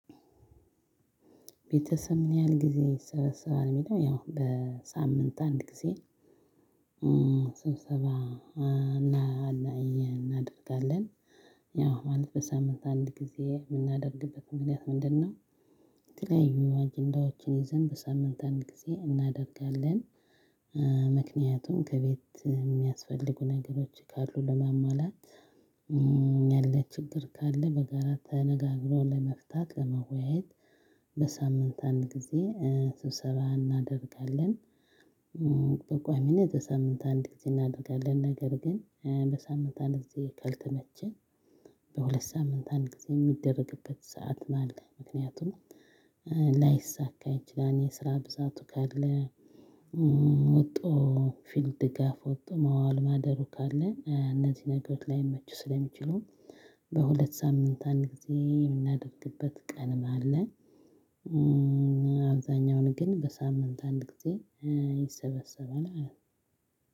ቤተሰብ ምን ያህል ጊዜ ይሰበሰባል ሚለው ያው በሳምንት አንድ ጊዜ? ስብሰባ እና እናይ እናደርጋለን። ያው ማለት በሳምንት አንድ ጊዜ ምናደርግበት ምክንያት ምንድነው? የተለያዩ አጀንዳዎችን ይዘን በሳምንት አንድ ጊዜ እናደርጋለን። ምክንያቱም ከቤት እሚያስፈልጉ ነገሮች ካሉ ለማሟላት ያለ ችግር ካለ በጋራ ተነጋግሮ ለመፍታት ለመወያየት። በሳምንት አንድ ጊዜ ስብሰባ እናደርጋለን። በቋሚነት በሳምንት አንድ ጊዜ እናደርጋለን። ነገር ግን በሳምንት አንድ ጊዜ ካልተመቸን በሁለት ሳምንት አንድ ጊዜ የሚደረግበት ሰዓትም አለ ምክንያቱም። ላይሳካ ይችላል የስራ ብዛቱ ካለ። ወጥቶ ፊልድ ድጋፍ ወጥቶ መዋል ማደሩ ካለ እነዚህ ነገሮች ላይመቹ ስለሚችሉ። በሁለት ሳምንት አንድ ጊዜ የምናደርግበት ቀንም አለ። አብዛኛውን ግን በሳምንት አንድ ጊዜ ይሰበሰባል ማለት።